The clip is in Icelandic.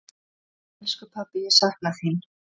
Elsku pabbi, ég sakna þín.